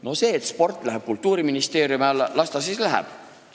No kui sport läheb Kultuuriministeeriumi alla, las ta siis läheb.